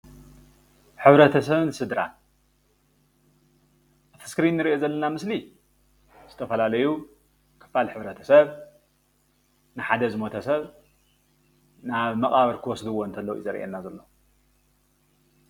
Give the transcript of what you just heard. ህብረተሰብን ስድራን እቲ እስክሪንእንርኦ ዘለና ምስሊ ዝተፈላለዩ ክፋል ህብረተሰብ ንሓደ ዝሞተ ሰብ ናብ መቃብር ክወሰድዎ ዘርኢና ዘሎ።